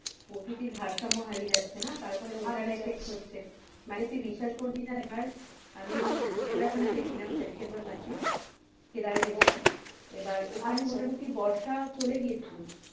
প্রকৃতির ভারসাম্য হারিয়ে যাচ্ছে না তার ফলে ওটার effect হচ্ছে মানে তুই বিশ্বাস করবি না এবার আমি উত্তরাখন্ড গিয়েছিলাম September মাসে কেদারে গিয়েছিলাম ওখানে মোটামটি বর্ষা চলে গিয়েছিলো,